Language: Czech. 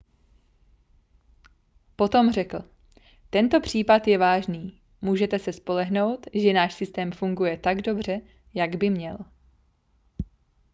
potom řekl tento případ je vážný můžete se spolehnout že náš systém funguje tak dobře jak by měl